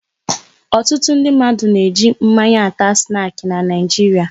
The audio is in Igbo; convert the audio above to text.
Ọtụtụ ndị mmadụ na eji mmanya ata snaki n'Naijiria